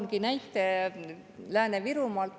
Ma toon näite Lääne-Virumaalt.